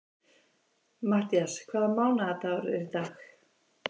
Matthías, hvaða mánaðardagur er í dag?